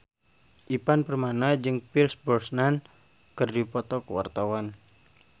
Ivan Permana jeung Pierce Brosnan keur dipoto ku wartawan